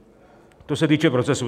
To se týče procesu.